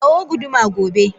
Kawo guduma gobe!